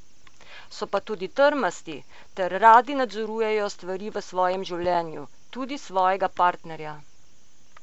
So pa tudi trmasti ter radi nadzorujejo stvari v svojem življenju, tudi svojega partnerja.